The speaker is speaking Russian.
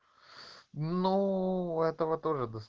ну этого тоже дос